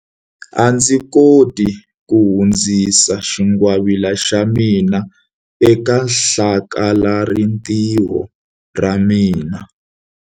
A ndzi koti ku hundzisa xingwavila xa mina eka hlakalarintiho ra ra mina.